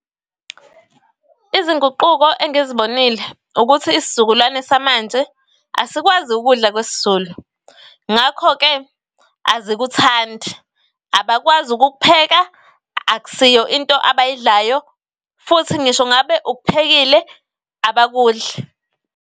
Izinguquko engizibonile ukuthi isizukulwane samanje asikwazi ukudla kwesiZulu, ngakho-ke azikuthandi abakwazi ukukupheka. Akusiyo into abayidlayo futhi ngisho ngabe ukuphekile abakudli.